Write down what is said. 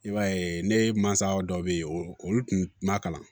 I b'a ye ne mansa dɔ bɛ yen olu tun ma kalan